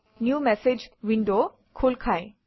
new message window খোল ফায়